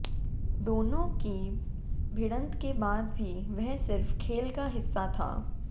दोनों की भिड़ंत के बाद भी वह सिर्फ खेल का हिस्सा था